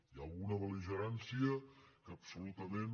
hi ha alguna bel·ligerància que absolutament